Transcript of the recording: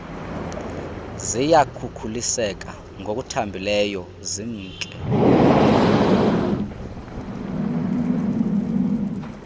ziyakhukuliseka ngokuthambileyo zimke